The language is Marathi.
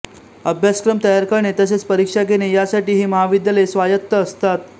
अभ्यासक्रम तयार करणे तसेच परीक्षा घेणे यासाठी ही महाविद्यालये स्वायत्त असतात